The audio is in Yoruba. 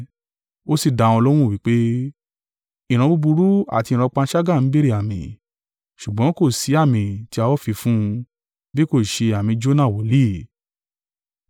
Ó sì dá wọn lóhùn wí pé, “Ìran búburú àti ìran panṣágà ń béèrè àmì; ṣùgbọ́n kò sí àmì tí a ó fi fún un, bí kò ṣe àmì Jona wòlíì.